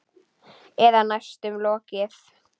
Eða næstum lokið.